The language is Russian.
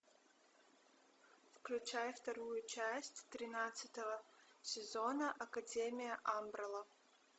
включай вторую часть тринадцатого сезона академия амбрелла